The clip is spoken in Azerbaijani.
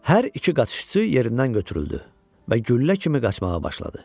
Hər iki qaçışçı yerindən götürüldü və güllə kimi qaçmağa başladı.